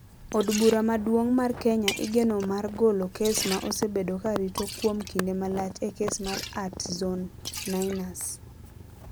Od Bura Maduong ' mar Kenya igeno mar golo kes ma osebedo ka rito kuom kinde malach e kes mar @Zone9ners.